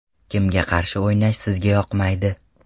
Kimga qarshi o‘ynash sizga yoqmaydi?